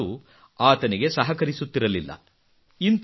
ಅವರ ಕಾಲು ಆತನಿಗೆ ಸಹಕರಿಸುತ್ತಿರಲಿಲ್ಲ